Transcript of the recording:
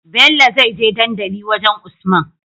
Bello zai je dandali wajan usman